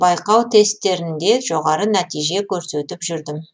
байқау тестерінде жоғары нәтиже көрсетіп жүрдім